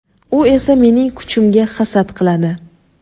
u esa mening kuchimga hasad qiladi.